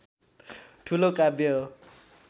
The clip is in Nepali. ठूलो काव्य हो